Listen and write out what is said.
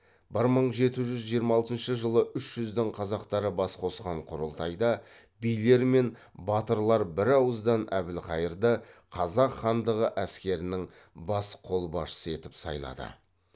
ол бір мың жеті жүз жиырма алтыншы жылы үш жүздің қазақтары бас қосқан құрылтайда билер мен батырлар бірауыздан әбілқайырды қазақ хандығы әскерінің бас қолбасшысы етіп сайлады